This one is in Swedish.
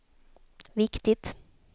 viktigt